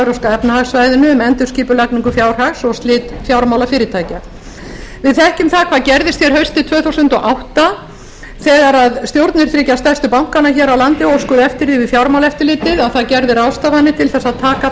evrópska efnahagssvæðinu um endurskipulagningu fjárhags og slit fjármálafyrirtækja við þekkjum það hvað gerðist hér haustið tvö þúsund og átta þegar stjórnir þriggja stærstu bankanna hér á landi óskuðu eftir því við fjármálaeftirlitið að það gerði ráðstafanir til þess að taka